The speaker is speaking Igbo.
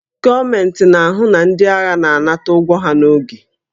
Gọọmentị na-ahụ na ndị agha na-anata ụgwọ ha n'oge